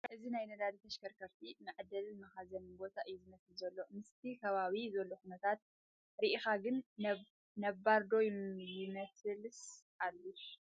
እዚ ናይ ነዳዲ ተሽከርከርቲ መዓደሊን መኻዘንን ቦታ እዩ ዝመስል ዘሎ፡ ምስቲ ኸባቢኡ ዘሎ ኹነታት ሪኢኻ ግን ነባር' ዶ ይመስልስ ሓዱሽ ?